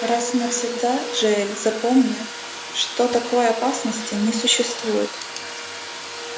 раз и навсегда джаэль запомни что такой опасности не существует